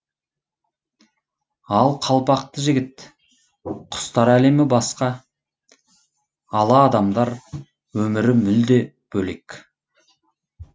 ақ қалпақты жігіт құстар әлемі басқа аладамдар өмірі мүлде бөлек